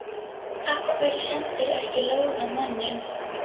Af hverju sendirðu ekki lóð á manninn?